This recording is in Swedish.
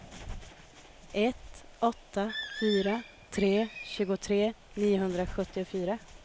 ett åtta fyra tre tjugotre niohundrasjuttiofyra